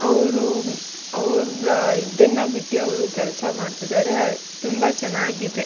ಅವ್ರು ಅವ್ರ ಇದನ್ನ ಬಿಟ್ಟ್ಟಿ ಅವ್ರು ಕೆಲಸ ಮಾಡ್ತಾ ಇದ್ದಾರೆ ಅವ್ರು ತುಂಬಾ ಚೆನ್ನಾಗಿದೆ.